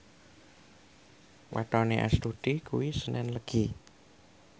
wetone Astuti kuwi senen Legi